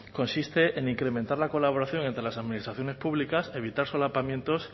consiste en incrementar la colaboración entre las administraciones públicas evitar solapamientos